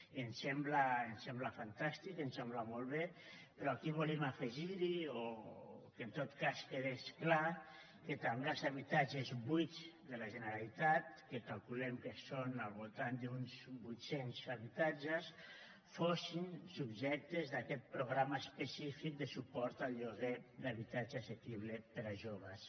i em sembla fantàstic em sembla molt bé però aquí volíem afegir hi o que en tot cas quedés clar que també els habitatges buits de la generalitat que calculem que són al voltant d’uns vuit cents habitatges fossin subjectes d’aquest programa específic de suport al lloguer d’habitatge assequible per a joves